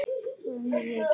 Vangaði ég ekki vel?